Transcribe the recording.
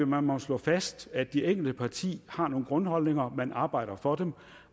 man må slå fast at det enkelte parti har nogle grundholdninger man arbejder for dem og